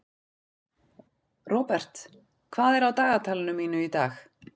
Robert, hvað er á dagatalinu mínu í dag?